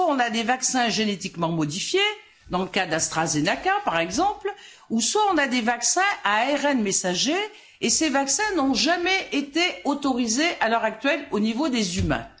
Soit on a des vaccins génétiquement modifiés, dans le cas d'AstraZeneca, par exemple, soit on a des vaccins à ARN messager et ces vaccins n'ont jamais été autorisés à l'heure actuelle au niveau des humains.